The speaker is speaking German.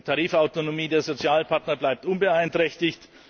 Die Tarifautonomie der Sozialpartner bleibt unbeeinträchtig.